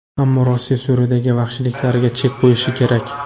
Ammo Rossiya Suriyadagi vahshiyliklariga chek qo‘yishi kerak”.